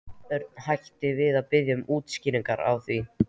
Örn hætti við að biðja um útskýringar á því.